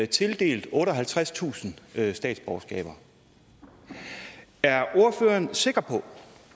tildelt otteoghalvtredstusind statsborgerskaber er ordføreren sikker på